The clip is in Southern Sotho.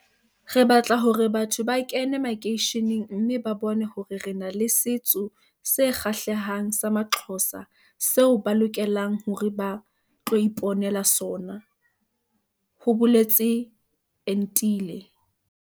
"Re batla hore batho ba kene makeisheneng mme ba bone hore re na le setso se kgahlehang sa amaXhosa seo ba lokelang hore ba tlo ipo nela sona," ho boletse Entile.